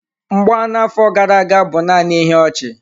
Mgba na-afọ gara aga bụ naanị ihe ọchị.